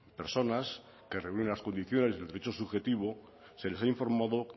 personas que reúnen las condiciones del derecho subjetivo se les ha informado